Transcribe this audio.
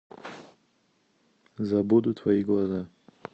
забуду твои глаза